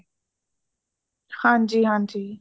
ਹਾਂਜੀ, ਹਾਂਜੀ |